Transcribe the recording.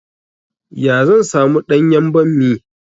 Ya zan samu ɗanyan ɓammi?